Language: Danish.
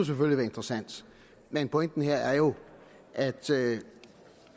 være interessant men pointen her er jo at